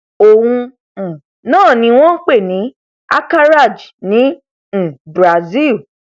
òun um náà ni wọn ń pè ní acaraje ní um brasil